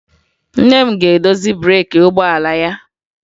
Nne m ga-edozi breeki ụgbọala ya